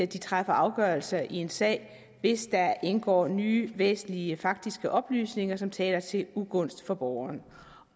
de træffer afgørelser i en sag hvis der indgår nye væsentlige faktiske oplysninger som taler til ugunst for borgeren